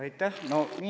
Aitäh!